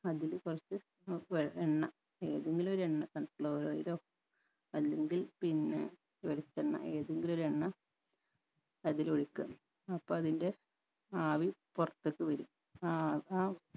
അതില് കൊർച്ച് വ വെ എണ്ണ ഏതെങ്കിലു ഒരു എണ്ണ sunflower oil ഓ അല്ലെങ്കിൽ പിന്നെ വെളിച്ചെണ്ണ ഏതെങ്കിലു ഒരു എണ്ണ അതിലൊഴിക്ക അപ്പൊ അതിൻറെ ആവി പൊർത്തക്ക് വരും ആ അഹ് ആ